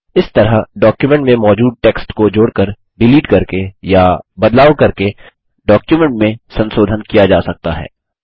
इस तरह डॉक्युमेट में मौजूद टेक्स्ट को जोड़कर डिलीट करके या बदलाव करके डॉक्युमेंट में संसोधन किया जा सकता है